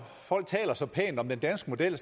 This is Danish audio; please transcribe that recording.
folk taler så pænt om den danske model